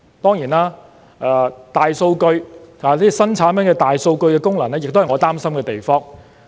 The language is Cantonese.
當然，新產品的大數據功能亦是我擔心的地方。